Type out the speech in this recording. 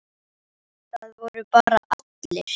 Það voru bara allir.